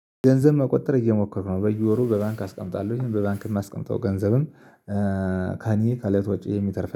ገንዘብ መቆጠብ እየሞከርኩ ነው በየወሩ በባንክ አስቀምጣለሁኝ በባንክ የማስቀምጠው ገንዘብም። ከህኔ ከለት ወጪዩ የሚተርፍ